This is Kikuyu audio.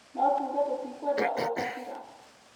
no tuuge tũtikwenda ũkabira